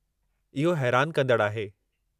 इहो हैरानु कंदड़ु आहे।